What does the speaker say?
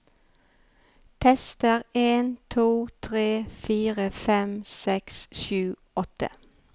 Tester en to tre fire fem seks sju åtte